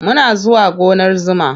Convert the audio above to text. Muna zuwa gonar zuma.